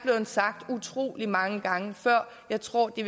sagt utrolig mange gange før jeg tror de